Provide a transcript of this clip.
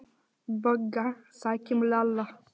BOGGA: Sækjum Lalla!